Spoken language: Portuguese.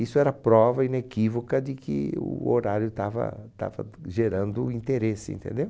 Isso era prova inequívoca de que o horário estava estava gerando interesse, entendeu?